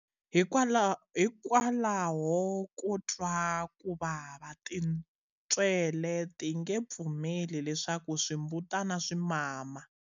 Hikwalaho ko twa ku vava, tintswele ti nge pfumeli leswaku swimbutana swi mama.